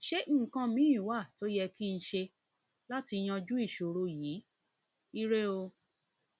ṣé nǹkan míì wà tó yẹ wà tó yẹ kí n ṣe láti yanjú ìṣòro yìí ire o